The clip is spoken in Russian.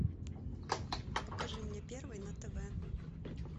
покажи мне первый на тв